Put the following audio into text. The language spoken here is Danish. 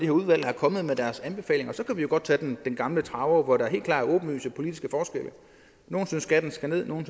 når udvalget er kommet med deres anbefalinger for så kan vi jo godt tage den gamle traver hvor der helt klart er åbenlyse politiske forskelle nogle synes skatten skal ned nogle